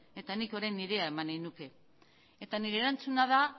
eta nik orain nirea eman nahi nuke eta nire erantzuna da